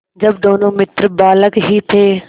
जब दोनों मित्र बालक ही थे